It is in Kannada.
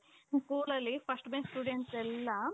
ಒಂದು schoolಲಲ್ಲಿ first bench students ಎಲ್ಲಾ